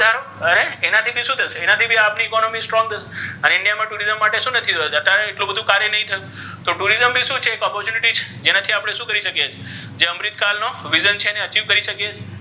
હવે ઍનાથી ભી શુ થશે ઍનાથી ભી આપણી economy strong થશે અને india મા tourism માટે નક્કી થયુ છે ઍત્યારે બધુ કાર્ય નહી થયુ તો tourism ભી શુ છે ઍક opportunity છે જેનાથી આપ્ણે શુ કરી શકીઍ જે છે ઍને achieve કરી શકીઍ છીઍ.